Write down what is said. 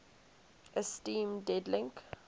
esteem dead link